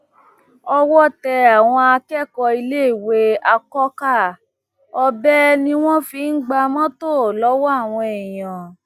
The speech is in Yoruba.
owó tẹ àwọn akẹkọọ iléèwé àkọkà ọbẹ ni wọn fi ń gba mọtò lọwọ àwọn èèyàn